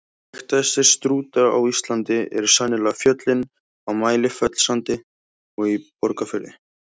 Þekktastir Strúta á Íslandi eru sennilega fjöllin á Mælifellssandi og í Borgarfirði.